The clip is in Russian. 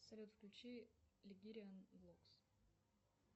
салют включи легириан вокс